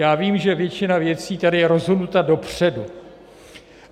Já vím, že většina věcí je tady rozhodnuta dopředu.